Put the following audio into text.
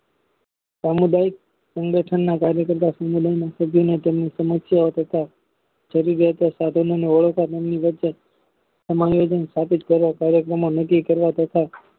સામુદાયિક સંગઠનના કાર્ય કરતા સંગઠન સમસ્યા તથા જરૂરિયાતો સાધનો કાર્યક્રમો નકી કરવા તથા